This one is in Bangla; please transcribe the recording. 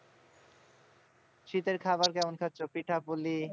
শীতের খাবার কেমন খাচ্ছো, পিঠাপুলি?